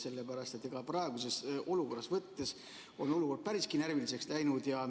Sellepärast et praeguse olukorra järgi võttes on olukord päris närviliseks läinud.